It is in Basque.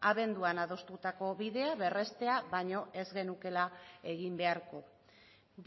abenduan adostutako bidea berrestea baino ez genukeela egin beharko